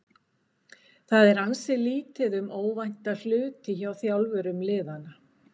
Það er ansi lítið um óvænta hluti hjá þjálfurum liðanna.